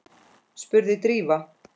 spurði Drífa.